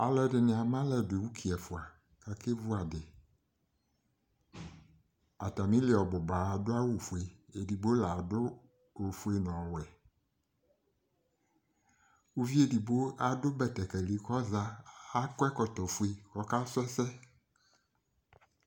Alu ɛdini amalɛdu uki ɛfua kakevu adiAtamili ɔbuba adʋ awu fueEdigbo ladʋ ofue nɔwɛUvi edigbo adʋ betekeli kɔzaAkɔ ɛkɔtɔ fue kɔkasu ɛsɛ